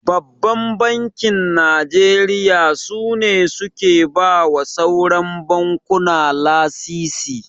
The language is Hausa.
Babban Bankin Najeriya su ne suke bawa sauran bankuna lasisi.